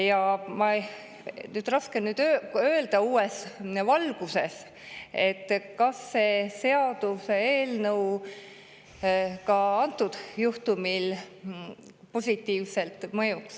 Ja raske on uues valguses öelda, kas see seaduseelnõu ka antud juhtumi korral meile positiivselt mõjuks.